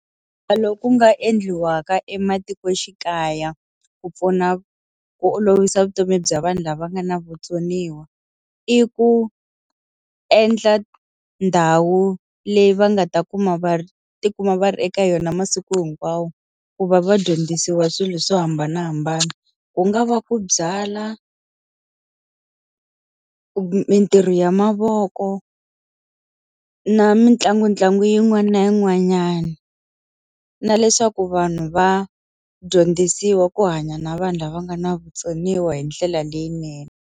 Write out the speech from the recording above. loku nga endliwa ka ematikoxikaya ku pfuna ku olovisa vutomi bya vanhu lava nga na vutsoniwa, i ku endla ndhawu leyi va nga ta kuma va ti kuma va ri eka yona masiku hinkwawo ku va va dyondzisiwa swilo swo hambanahambana. Ku nga va ku byala mitirho ya mavoko, na mitlangutlangu yin'wani na yin'wanyani. Na leswaku vanhu va dyondzisiwa ku hanya na vanhu lava nga na vutsoniwa hi ndlela leyinene.